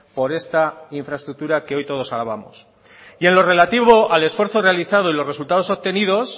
por esta infraestructura que hoy todos alabamos y en lo relativo al esfuerzo realizado y los resultados obtenidos